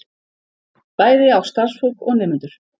Bæði á starfsfólk og nemendur